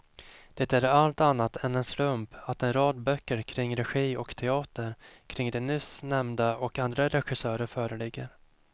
Det är allt annat än en slump att en rad böcker kring regi och teater kring de nyss nämnda och andra regissörer föreligger.